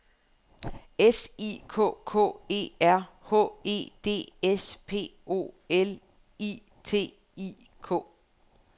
S I K K E R H E D S P O L I T I K